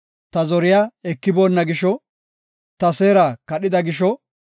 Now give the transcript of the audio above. Ta zoriya ekiboonna gisho; ta seera kadhida gisho;